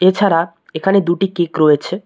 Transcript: এছাড়া এখানে দুটি কেক রয়েছে।